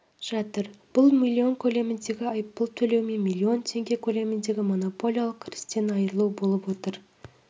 жатыр бұл миллион көлеміндегі айыппұл төлеу мен миллион теңге көлемінде монополиялық кірістен айыру болып отыр